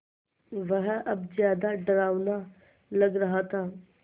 वह अब ज़्यादा डरावना लग रहा था